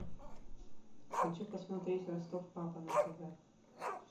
хочу посмотреть восток папа на тв